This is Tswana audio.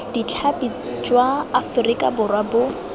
ditlhapi jwa aforika borwa bo